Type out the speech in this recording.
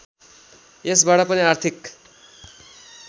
यसबाट पनि आर्थिक